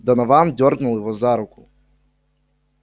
донован дёрнул его за руку